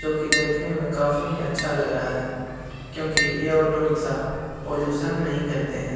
जो की देखने में काफी ही अच्छा लग रहा है क्यूंकि ये ऑटो रिक्शा पॉल्यूशन नहीं करते हैं।